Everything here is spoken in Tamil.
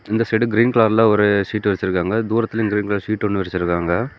இந்த சைடு கிரீன் கலர்ல ஒரு சீட்டு விரிச்சிருக்காங்க. தூரத்துல ஒரு சீட் ஒன்னு விரிச்சிருக்காங்க.